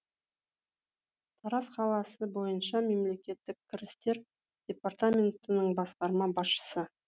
тараз қаласы бойынша мемлекеттік кірістер департаментінің басқарма басшысы